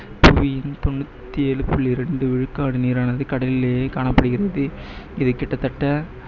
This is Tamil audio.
புவியின் தொண்ணூத்தி ஏழு புள்ளி ரெண்டு விழுக்காடு நீரானது கடலிலேயே காணப்படுகிறது, இதில் கிட்டத்தட்ட